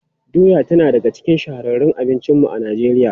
Doya tana daga cikin shahararrun abincinmu a Najeriya.